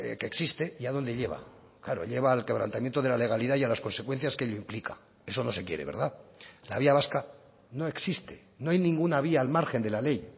que existe y a dónde lleva claro lleva al quebrantamiento de la legalidad y a las consecuencias que ello implica eso no se quiere verdad la vía vasca no existe no hay ninguna vía al margen de la ley y